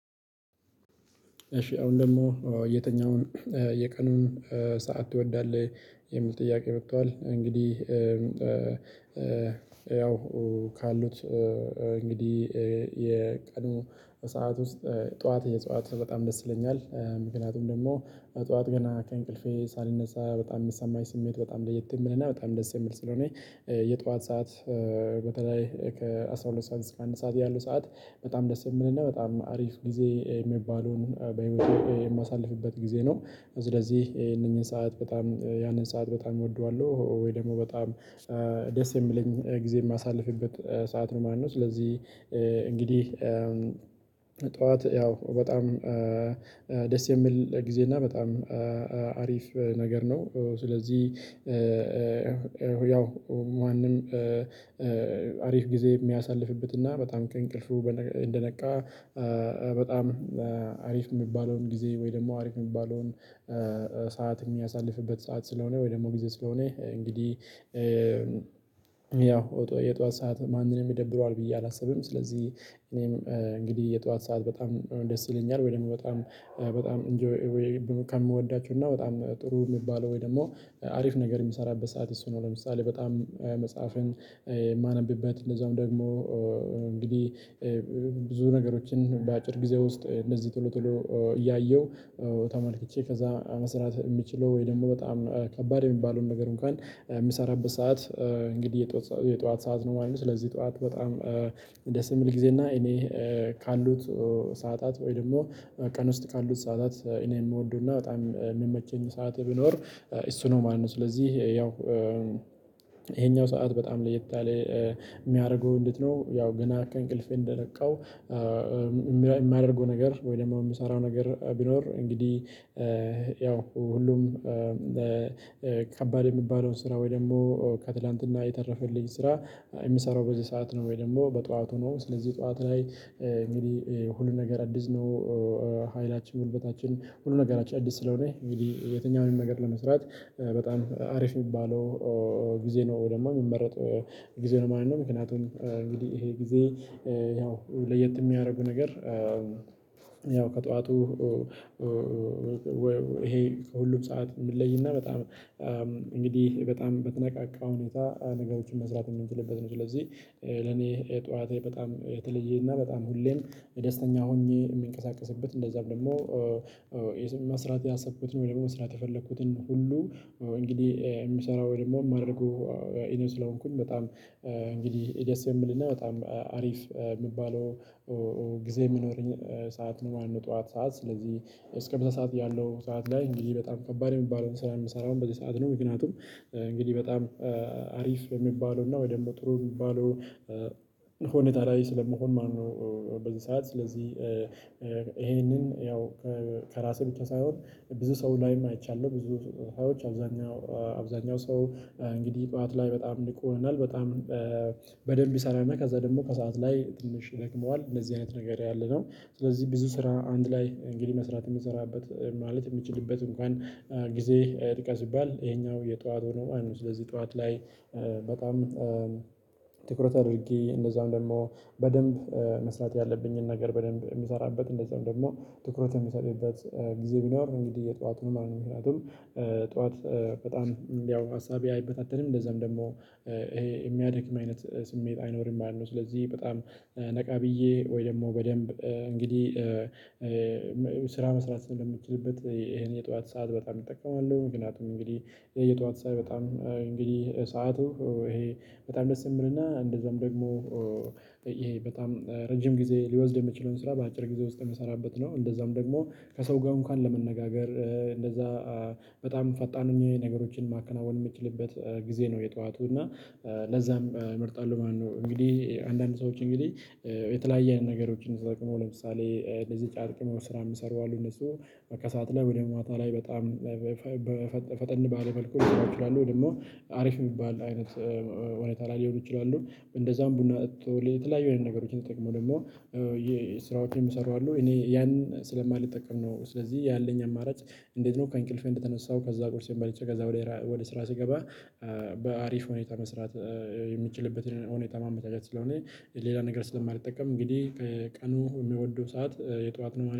እሺ አሁን ደግሞ የተኛውን የቀኑን ሰዓት ትወዳለህ የሚል ጥያቄ መቷዋል? እንግዲህ ያው ካሉት እንግዲህ የቀኑ ሰዓት ውስጥ ጠዋት የጠዋት በጣም ደስ ይለኛል። ምክንያቱም ደግሞ ጠዋት ገና ከእንቅልፌ ሳልነሳ በጣም የምሰማኝ ስሜት በጣም ለየት የምልና በጣም ደስ የምል ስለሆነ የጧዋት ሰዓት። በተለይ ከአሥራ ሁለት ሰዓት እስከ አንድ ሰዓት ያሉ ሰዓት በጣም ደስ የሚልና በጣም አሪፍ ጊዜ የሚባለውን በህይወቴ የማሳልፍበት ጊዜ ነው። ስለዚህ ይሄንን ሰዓት በጣም ያንን ሰዓት በጣም እወደዋለሁ። ወይ ደግሞ በጣም ደስ የሚለኝ ጊዜ የማሳልፍበት ሰዓት ነው ማነው? ስለዚህ እንግዲህ ጠዋት ያው በጣም ደስ የሚል ጊዜ እና በጣም አሪፍ ነገር ነው። ስለዚህ ያው ማንም አሪፍ ጊዜ የሚያሳልፍበት እና በጣም ከእንቅልፉ እንደነቃ በጣም አሪፍ የሚባለውን ጊዜ ወይ ደግሞ አሪፍ የሚባለውን ሰዓት የሚያሳልፍበት ሰዓት ስለሆነ። ወይ ደግሞ ጊዜ ስለሆነ እንግዲህ ኦጦ የጧዋት ሰዓት ማንንም ይደብረዋል ብዬ አላስብም። ስለዚህ እኔም እንግዲህ የጧዋት ሰዓት በጣም ደስ ይለኛል ወይ ደግሞ በጣም በጣም ኢንጆይ ከምወዳቸው እና በጣም ጥሩ የሚባለው ወይ ደግሞ አሪፍ ነገር የምሰራበት ሰዓት እሱ ነው። ለምሳሌ በጣም መጽሐፍን እማነብበት እንደዛውም ደግሞ እንግዲህ ብዙ ነገሮችን በአጭር ጊዜ ውስጥ እንደዚህ ቶሎ ቶሎ እያየሁ ተመልክቼ ከዛ መስራት የሚችለው ወይ ደግሞ በጣም ከባድ የሚባለውን ነገር እንኳን የምሰራበት ሰዓት እንግዲህ የጧዋት ሰዓት ነው ማለት ነው። ስለዚህ ጧዋት በጣም ደስ የምል ጊዜ እና እኔ ካሉት ሰዓታት ወይ ደግሞ ቀን ውስጥ ካሉት ሰዓታት እኔ የምወድውና በጣም የምመችኝ ሰዓት ቢኖር እሱ ነው ማለት ነው። ስለዚህ ያው ይሄኛው ሰዓት በጣም ለየት አለ የሚያደርጉ እንዴት ነው? ያው ገና ከእንቅልፌ እንደነቃው የማያደርገው ነገር ወይ ደግሞ የምሰራው ነገር ቢኖር እንግዲህ ያው ሁሉም ከባድ የሚባለውን ስራ ወይ ደግሞ ከትላንትና የተረፈልኝ ስራ የምሰራው በዚህ ሰዓት ነው ወይ ደግሞ በጧዋቱ ነው ስለዚህ ጧዋት ላይ እንግዲህ ሁሉ ነገር አዲስ ነው። ሀይላችን ጉልበታችን ሁሉ ነገራችን አዲስ ስለሆነ እንግዲ የትኛውንም ነገር ለመስራት በጣም አሪፍ የሚባለው ጊዜ ነው ወይ ደግሞ የሚመረጥ ጊዜ ነው ማለት ነው። ምክንያቱም እንግዲህ ይሄ ጊዜ ያው ለየት የሚያደርጉ ነገር ያው ከጠዋቱ ይሄ ከሁሉም ሰዓት የምለይና በጣም እንግዲህ በጣም በተነቃቃ ሁኔታ ነገሮችን መስራት የምንችልበት ነው። ስለዚህ ለኔ ጠዋቴ በጣም የተለየ እና በጣም ሁሌም ደስተኛ ሆኜ የምንቀሳቀስበት እንደዛም ደግሞ መስራት ያሰብኩትን ወይ ደግሞ መስራት የፈለኩትን ሁሉ እንግዲህ የምሰራው ወይ ደግሞ የማደርገው እኔ ስለሆንኩኝ በጣም እንግዲህ ደስ የሚል እና በጣም አሪፍ የሚባለው ጊዜ የሚኖረኝ ሰዓት ነው። ማለት ነው ጠዋት ሰዓት ስለዚህ እስከ ምሳ ሰዓት ያለው ሰዓት ላይ እንግዲህ በጣም ከባድ የሚባለውን ስራ የምሰራው በዚህ ሰዓት ነው። ምክንያቱም እንግዲህ በጣም አሪፍ የሚባለውና ወይ ደግሞ ጥሩ የሚባለው ሆኔታ ላይ ስለመሆን ማለት ነው። በዚህ ሰዓት ስለዚህ ይሄንን ያው ከራሴ ብቻ ሳይሆን ብዙ ሰው ላይም አይቻለሁ ብዙ ሰዎች አብዛኛው አብዛኛው ሰው እንግዲህ ጠዋት ላይ በጣም ንቁ ይሆናል። በጣም በደንብ ይሰራልና ከዛ ደግሞ ከሰአት ላይ ትንሽ ይደክመዋል እንደዚህ አይነት ነገር ያለ ስለዚህ ብዙ ስራ አንድ ላይ እንግዲህ መስራት የምሰራበት ማለት የምችልበት እንኳን ጊዜ ጥቀስ ብባል ይሄኛው የጠዋት ነው። ስለዚህ ጠዋት ላይ በጣም ትኩረት አድርጌ እንደዛውም ደግሞ በደንብ መስራት ያለብኝን ነገር በደንብ የምሰራበት እንደዛውም ደግሞ ትኩረት የምሰጥበት ጊዜ ቢኖር እንግዲህ የጠዋቱን ማለት ነው። ምክንያቱም ጠዋት በጣም ያው ሀሳቤ አይበታተንም እንደዛም ደግሞ ይሄ የሚያድክ አይነት ስሜት አይኖርም ማለት ነው። ስለዚህ በጣም ነቃ ብዬ ወይ ደግሞ በደንብ እንግዲህ ስራ መስራት ስለምችልበት ይሄን የጠዋት ሰዓት በጣም እጠቀማለሁ። ምክንያቱም እንግዲህ የየጠዋት ሰዓት በጣም እንግዲህ ሰዓቱ ይሄ በጣም ደስ የምልና እንደዛም ደግሞ ይሄ በጣም ረጅም ጊዜ ሊወስድ የሚችለውን ስራ በአጭር ጊዜ ውስጥ የምሰራበት ነው። እንደዛም ደግሞ ከሰው ጋር እንኳን ለመነጋገር እንደዛ በጣም ፈጣን ሆኜ ነገሮችን ማከናወን የምትችልበት ጊዜ ነው የጠዋቱ እና ለዛም እመርጣለሁ ማለት ነው። እንግዲህ አንዳንድ ሰዎች እንግዲህ የተለያየ ነገሮችን ተጠቅመው ነው ለምሳሌ እንደዚህ ጫት ቅመው ስራ የሚሰሩ አሉ። እነሱ ከሰአት ላይ ወደ ማታ ላይ በጣም ፈጠን ባለ መልኩ ሊሰሩ ይችላል። ወይ ደግሞ አሪፍ የሚባል አይነት ሁኔታ ላይ ሊሆኑ ይችላሉ። እንደዛም ቡና ጠጥቶ የተለያዩ አይነት ነገሮችን ተጠቅመው ደግሞ የስራዎችን የሚሰሩ አሉ። እኔ ያን ስለማልጠቀም ነው። ስለዚህ ያለኝ አማራጭ እንዴት ነው? ከእንቅልፌ እንደተነሳው ከዛ ቁርሴን በልቼ ከዛ ወደ ስራ ስገባ በአሪፍ ሁኔታ መስራት የምችልበትን ሁኔታ ማመቻቸት ስለሆነ። ሌላ ነገር ስለማልጠቀም እንግዲህ ቀኑ የሚወዱው ሰዓት የጧዋት ነው